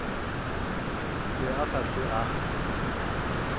be a sa hlwe a